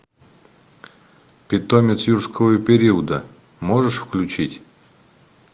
питомец юрского периода можешь включить